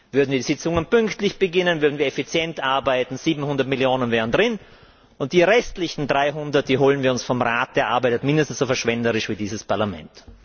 Würden die Sitzungen pünktlich beginnen, würden wir effizient arbeiten, wären 700 Millionen drin, und die restlichen 300 holen wir uns vom Rat, der arbeitet mindestens so verschwenderisch wie dieses Parlament.